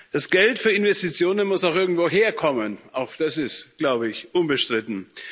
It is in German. Das Geld für Investitionen muss auch irgendwoher kommen. Auch das ist, glaube ich, unbestritten.